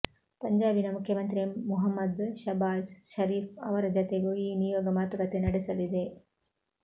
ಪಂಜಾಬಿನ ಮುಖ್ಯಮಂತ್ರಿ ಮುಹಮ್ಮದ್ ಶಾಬಾಜ್ ಶರೀಫ್ ಅವರ ಜತೆಗೂ ಈ ನಿಯೋಗ ಮಾತುಕತೆ ನಡೆಸಲಿದೆ